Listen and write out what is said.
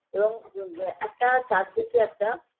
এবং আ একটা চারদিকে একটা